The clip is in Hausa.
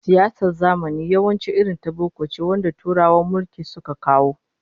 Siyasar zamani yawanci irin ta boko ce wanda Turawan mulki suka kawo